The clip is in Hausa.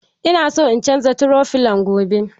Ina son in canza toro filon gobe.